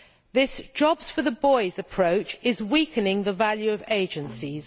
This jobs for the boys' approach is weakening the value of agencies.